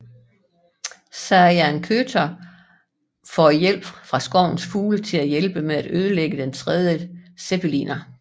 Sayan Kötör får hjælp fra skovens fugle til at hjælpe med at ødelægge den tredje zeppeliner